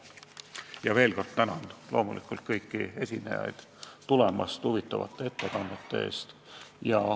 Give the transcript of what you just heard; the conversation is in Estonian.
Ma veel kord tänan kõiki esinejaid kohale tulemast ja huvitavate ettekannete eest.